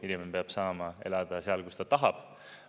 Inimene peab saama elada seal, kus ta tahab.